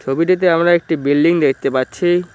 ছবিটিতে আমরা একটি বিল্ডিং দেখতে পাচ্ছি।